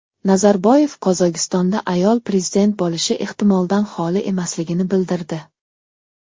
Nazarboyev Qozog‘istonda ayol prezident bo‘lishi ehtimoldan xoli emasligini bildirdi.